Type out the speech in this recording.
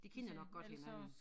De kender nok godt hinanden